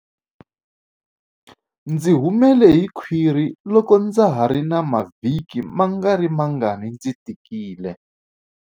Ndzi humele hi khwiri loko ndza ha ri na mavhiki mangarimangani ndzi tikile.